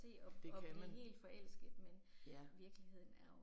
Det kan man. Ja